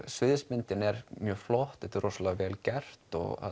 sviðsmyndin er mjög flott þetta er rosalega vel gert